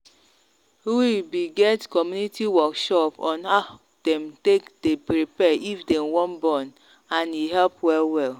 we be get community workshop on them take day prepare if them wan born and e help well well.